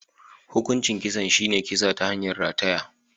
Hukuncin kisan shi ne kisa ta hanyar rataya.